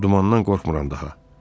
Dumandan qorxmuram daha.